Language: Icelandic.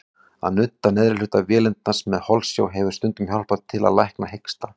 Að nudda neðri hluta vélindans með holsjá hefur stundum hjálpað til að lækna hiksta.